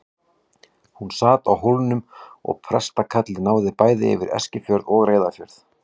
Hann sat á Hólmum og prestakallið náði bæði yfir Eskifjörð og Reyðarfjörð.